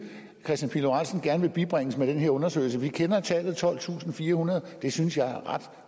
kristian pihl lorentzen gerne vil bibringes med den her undersøgelse vi kender tallet tolvtusinde og firehundrede det synes jeg er ret